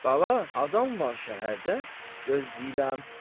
Bala, adam var şəhərdə, gözləyirəm.